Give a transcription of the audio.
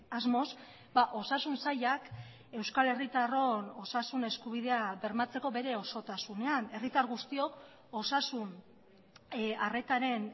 asmoz osasun sailak euskal herritarron osasun eskubidea bermatzeko bere osotasunean herritar guztiok osasun arretaren